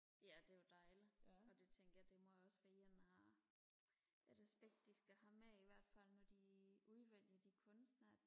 ja det er jo dejligt og det tænker jeg det må også være et aspekt de skal have med i hvert fald når de udvælger de kunstere